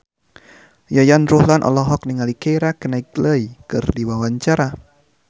Yayan Ruhlan olohok ningali Keira Knightley keur diwawancara